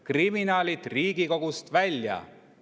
Kriminaalid Riigikogust välja!